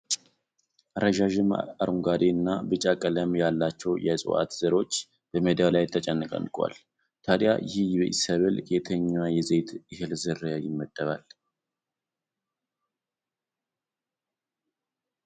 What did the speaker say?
ረዣዥም ፤ አረንጓዴ እና ቢጫ ቀለም ያላቸው የእፅዋት ዘሮች በሜዳው ላይ ተጨናንቀዋል። ታዲያ ይህ ሰብል ከየትኛው የዘይት እህል ዝርያ ይመደባል?